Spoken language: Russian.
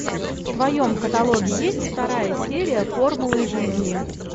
в твоем каталоге есть вторая серия формулы жизни